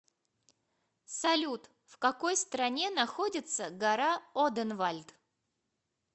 салют в какой стране находится гора оденвальд